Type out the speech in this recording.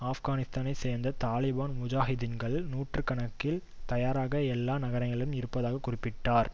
ஆப்கானிஸ்தானைச் சேர்ந்த தாலிபான் முஜாஹிதீன்கள் நூற்று கணக்கில் தயாராக எல்லா நகரங்களிலும் இருப்பதாக குறிப்பிட்டார்